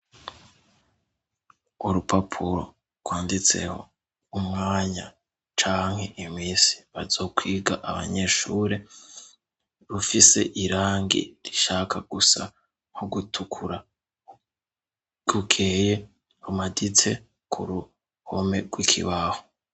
Urupapuro rwanditseho umwanya canke imisi bazokwiga abanyeshure, rufise irangi rishaka gusa nko gutukura, rukeye rumaditse ku ruhome rw'ikibaho.